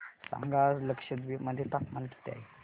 सांगा आज लक्षद्वीप मध्ये तापमान किती आहे